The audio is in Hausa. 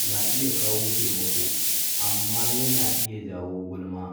na iya kawo taimako, amma yana iya jawo gulma.